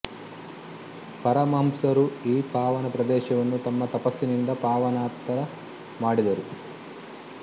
ಪರಮಹಂಸರು ಈ ಪಾವನ ಪ್ರದೇಶವನ್ನು ತಮ್ಮ ತಪಸ್ಸಿನಿಂದ ಪಾವನತರ ಮಾಡಿದರು